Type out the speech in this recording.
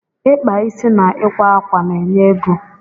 ịkpa isi na ịkwa ákwà na enye ego